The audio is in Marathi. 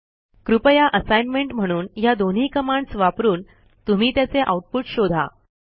कृपया असाइनमेंट म्हणून ह्या दोन्ही कमांडस् वापरून तुम्ही त्याचे आऊटपुट शोधा